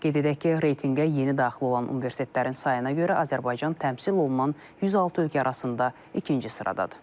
Qeyd edək ki, reytinqə yeni daxil olan universitetlərin sayına görə Azərbaycan təmsil olunan 106 ölkə arasında ikinci sıradadır.